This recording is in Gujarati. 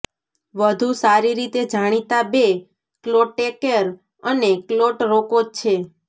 વધુ સારી રીતે જાણીતા બે ક્લોટેકેર અને ક્લોટ રોકો છે